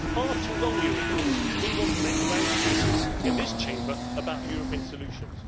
For far too long we have ignored this because we want to make grand speeches in this Chamber about European solutions.